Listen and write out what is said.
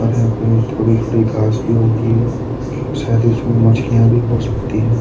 अर यहां पे थोडी-थोडी घास भी उगी है शायद उसमें मछलियां भी हो सकती हैं।